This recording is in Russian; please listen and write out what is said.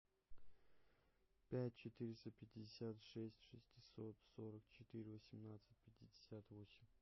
пять четыреста пятьдесят шесть шестьсот сорок четыре восемнадцать пятьдесят восемь